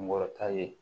Kunkɔrɔta ye